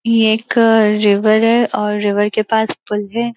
ये एक रिवर है और रिवर के पास पुल है।